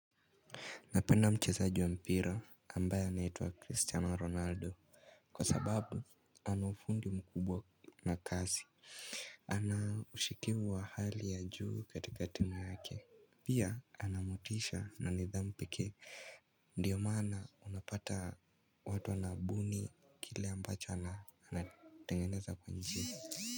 Napenda mchezaji wa mpira ambaye anaitwa Cristiano Ronaldo. Kwa sababu anaufungi mkubwa na kasi. Ana ushikivu wa hali ya juu katika timu yake. Pia ana motisha na nidhamu pekee ndiyo maana unapata watu wanabuni kile ambacho anatengeneza kwa njia.